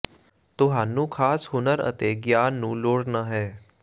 ਤੁਹਾਨੂੰ ਖਾਸ ਹੁਨਰ ਅਤੇ ਗਿਆਨ ਨੂੰ ਲੋੜ ਨਹ ਹੈ